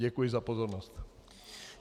Děkuji za pozornost.